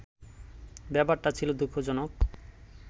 ব্যাপারটা ছিল দু:খজনক